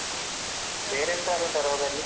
ಬೇರೆ ಎಂತಾದ್ರು ಉಂಟಾ ರೋಗ ಅಲ್ಲಿ.